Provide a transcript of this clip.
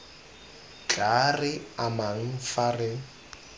tla re amang fa re